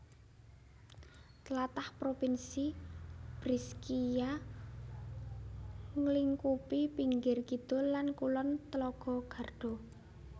Tlatah Provinsi Brescia nglingkupi pinggir kidul lan kulon telaga Garda